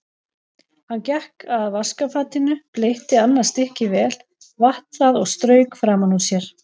Hann gekk að vaskafatinu, bleytti annað stykkið vel, vatt það og strauk framan úr sér.